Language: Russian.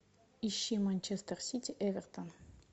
ищи манчестер сити эвертон